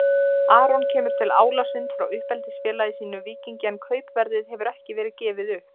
Aron kemur til Álasund frá uppeldisfélagi sínu Víkingi en kaupverðið hefur ekki verið gefið upp.